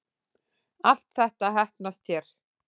Allt þetta heppnast hér